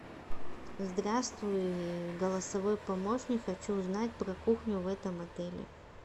здравствуй голосовой помощник хочу узнать про кухню в этом отеле